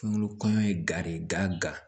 Kungolo kɔɲɔ ye gere gan